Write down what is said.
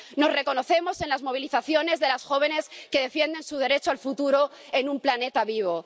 Nos reconocemos en las movilizaciones de las jóvenes que defienden su derecho al futuro en un planeta vivo.